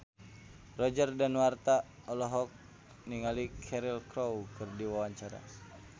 Roger Danuarta olohok ningali Cheryl Crow keur diwawancara